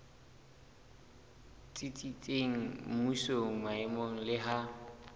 tsitsitseng mmusong maemong le ha